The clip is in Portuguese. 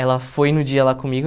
Ela foi no dia lá comigo.